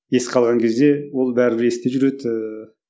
еске алған кезде ол бәрібір есте жүреді ііі